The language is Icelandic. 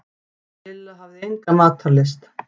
Lilla hafði enga matarlyst.